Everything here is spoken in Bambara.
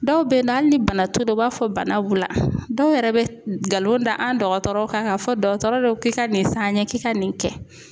Dɔw bɛ na hali ni bana t' u la, u b'a fɔ bana b'u la, dɔw yɛrɛ bɛ nkalon da an dɔgɔtɔrɔw kan k'a fɔ dɔgɔtɔrɔw k'i ka nin san an ye k'i ka nin kɛ.